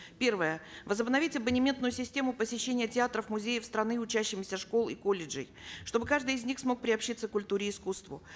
первое возобновить абонементную систему посещения театров музеев страны учащимися школ и колледжей чтобы каждый из них смог приобщиться к культуре и искусству